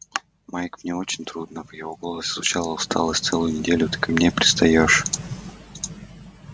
майк мне очень трудно в его голосе звучала усталость целую неделю ты ко мне пристаёшь